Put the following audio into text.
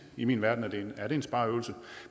i min verden er det en spareøvelse